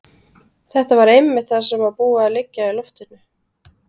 Þetta var einmitt það sem var búið að liggja í loftinu.